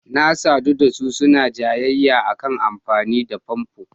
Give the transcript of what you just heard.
Na sadu da su suna jayayya a kan amfani da famfo.